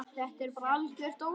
Þetta er bara algert ólán.